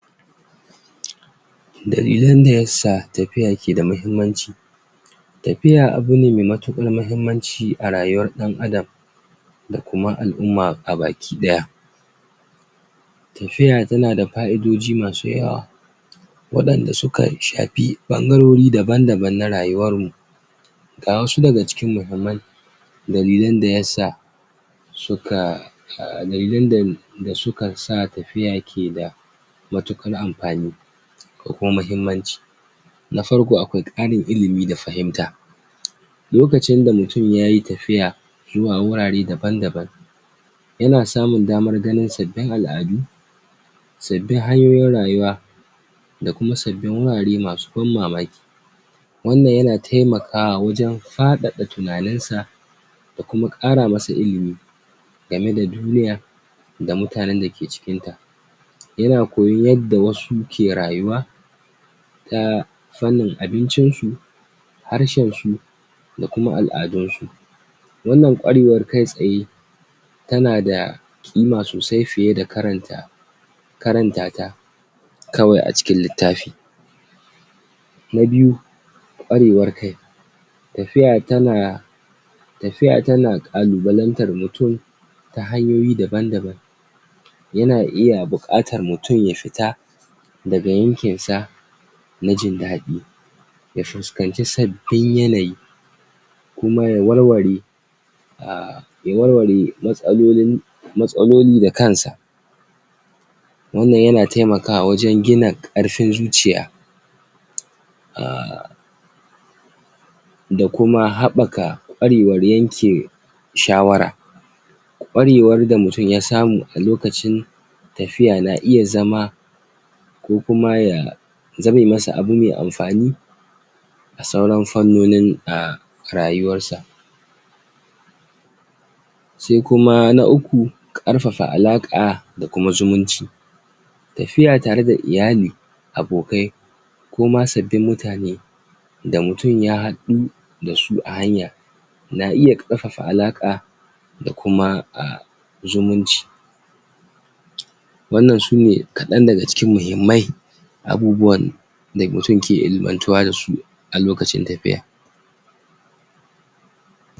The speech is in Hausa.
bari mu tattauna dalilan da ya sa ya kamata mutun ya shiga kungiyoyi da kungiyoyin dalibai a kolegi dalilai masu mahimmaci na shiga kungiyoyi da kungiyoyin dalibai a kwalegi wato shiga kungiyoyi da kungiyoyi dalibai daban daban akwai faidogi masu yawa masu yawa da mutun zai iya samu, idan ya shiga wayan nan kungiyoyi na farko munada samun sandan abokai da saduwa da mutane masu irin raayi kolegi biyune da mutane suke zuwa daga hurare mamu nisa shiga kungiya yana da daman saduwa yana baka damar saduwa da dalibai wayanda kukeda shaawan wayanda kuke da shaawa iri-daya kuna iya yin abokai na kut da kut, wayan da zasu, kasan ce tare da kai har bayan ka gama karatu na biyu inganta kwarewan jagoranci da aiki tare da kungiya yawan ci kungiyoyi su na da mukamai da ban da ban da dalibai zasu iya rikewa ta hanyan rike wayan nan mukamai zaka koyi yadda ake jagorancin wasu yadda ake a tsara aiyuka da kuma yadda ake aiki tare da mutane daban-daban dan cimma manufa daya wayan nan kwarewan zasu taimaka maka sosai a rayuwar ka ta gaba kara ilimi da fahimta a farnoni da kake shaawa akwai kungiyoyi da yawa wayan da suka shafi farnonin karatu daban daban kaman kungiyar masu karatu inginiya kunyiyan masu karantun kasuwan ci da sauran su shiga wayan nan kungiyoyi yana baka damar kara ilimi ilimin ka a wannan farnin ta hanyan tattaunawa ko kuma yin leccoci a da kuma aiyuka daban daban da kunyiyar zata iya shiryawa domin karin haske ko kuma karin ilimi ga manbobin ta